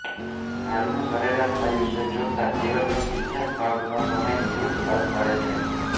હાલનું સરેરાશ આયુષ્ય જોતાં જીવનનો ત્રીજા ભાગનો સમય નિવૃત્તિ બાદ મળે છે